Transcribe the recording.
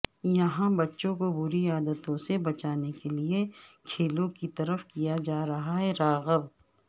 یہاں بچوں کو بری عادتوں سے بچانے کیلئے کھیلوں کی طرف کیا جا رہا راغب